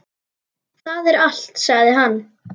Það er allt, sagði hann.